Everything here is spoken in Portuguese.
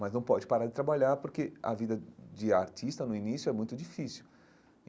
Mas não pode parar de trabalhar, porque a vida de artista, no início, é muito difícil.